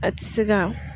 A ti se ka